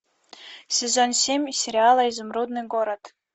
сезон семь сериала изумрудный город